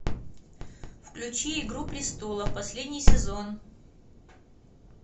включи игру престолов последний сезон